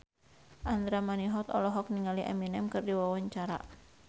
Andra Manihot olohok ningali Eminem keur diwawancara